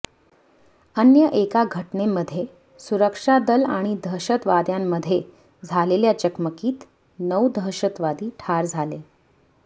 अन्य एका घटनेमध्ये सुरक्षा दल आणि दहशतवाद्यांमध्ये झालेल्या चकमकीत नऊ दहशतवादी ठार झाले